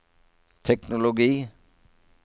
teknologi